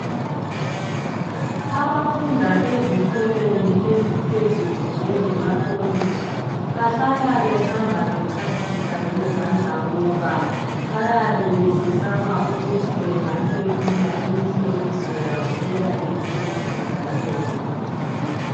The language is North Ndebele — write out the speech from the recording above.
Abafunda ezikolweni eziphezulu njengama kolitshi bahlala behamba echasisa ngezandla ngoba bayabe besesaba ukuthi benga feyila imihloliso yabo eyabe isemaduzaneni.